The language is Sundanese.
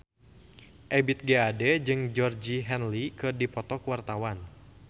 Ebith G. Ade jeung Georgie Henley keur dipoto ku wartawan